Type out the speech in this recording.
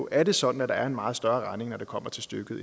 er det sådan at der er en meget større regning når det kommer til stykket